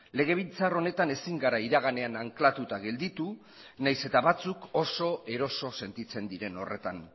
legebiltzar honetan ezin gara iraganean anklatuta gelditu nahiz eta batzuk oso eroso sentitzen diren horretan